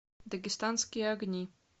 дагестанские огни